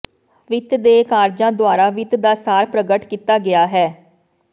ਵਿੱਤ ਦੇ ਕਾਰਜਾਂ ਦੁਆਰਾ ਵਿੱਤ ਦਾ ਸਾਰ ਪ੍ਰਗਟ ਕੀਤਾ ਗਿਆ ਹੈ